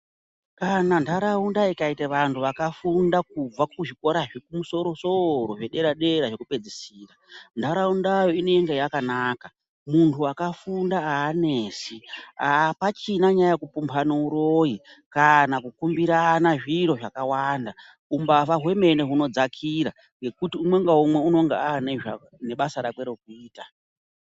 Kana ndharawunda ikayita vantu vakafunda kubva kuzvikora zvikumsoro soro, zvedera dera, zvekupedzisira, ndharawunda inoyinda yakanaka. Muntu wakafunda hanetsi. Apachina nyaya yekupombana huroyi, kana kukumbirana zviro zvakawanda. Humbava wemene wunodzakira ngekuti umwo nawumwo unenge ane basa rake rokuyita.